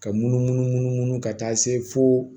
Ka munumunu munu munu ka taa se fo